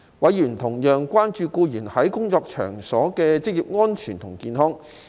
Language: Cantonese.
委員同樣關注僱員在工作場所的職業安全及健康。